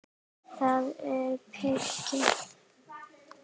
Það er mikið!